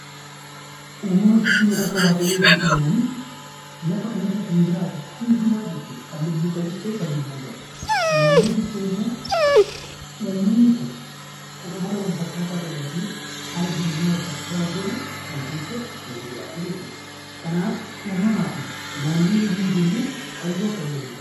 Uumama jechuun harka waaqayyootiin uumamanii lafa kanarra kan jiraatu hundumaa jechuudha. Kan lubbuu qabus ta'e kan lubbuu hin qabne. Naannoo jechuun immoo uumamni kun kan amala wal fakkaataa qabuu fi haala jireenyaa wal fakkaataa hordofu kan keessa waliin jiraatu jechuudha. Kanaaf uumamaa fi naannoo yommuu jennu hariiroo akkamii waliin qabu.